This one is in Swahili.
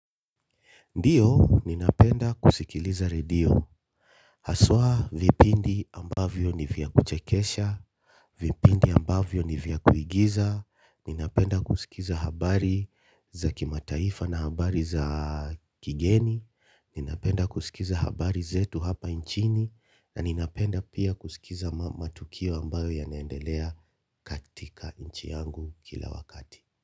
Ndiyo, ninapenda kusikiliza redio, haswa vipindi ambavyo nivya kuchekesha, vipindi ambavyo nivya kuigiza, ninapenda kusikiza habari za kimataifa na habari za kigeni, ninapenda kusikiza habari zetu hapa nchini, na ninapenda pia kusikiza matukio ambayo yanaendelea katika nchi yangu kila wakati.